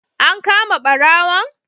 An kama ɓarawon?